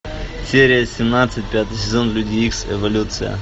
серия семнадцать пятый сезон люди икс эволюция